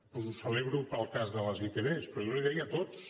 doncs ho celebro pel cas de les itv però jo li ho deia de tots